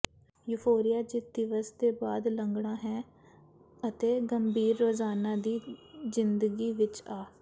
euphoria ਜਿੱਤ ਦਿਵਸ ਦੇ ਬਾਅਦ ਲੰਘਦਾ ਹੈ ਅਤੇ ਗੰਭੀਰ ਰੋਜ਼ਾਨਾ ਦੀ ਜ਼ਿੰਦਗੀ ਵਿੱਚ ਆ